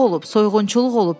Oğurluq olub, soyğunçuluq olub.